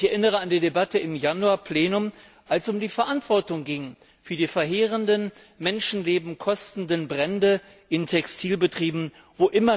Ich erinnere an die Debatte im Januar Plenum, als es um die Verantwortung für die verheerenden, Menschenleben kostenden Brände in Textilbetrieben ging.